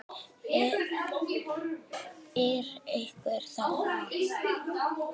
Er einhver þarna?